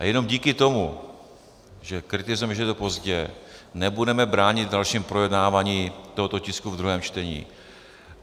A jenom díky tomu, že kritizujeme, že je to pozdě, nebudeme bránit v dalším projednávání tohoto tisku v druhém čtení.